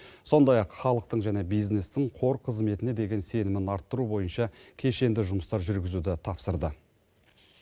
сондай ақ халықтың және бизнестің қор қызметіне деген сенімін арттыру бойынша кешенді жұмыстар жүргізуді тапсырды